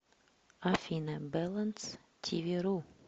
афина бэлэнс ти ви ру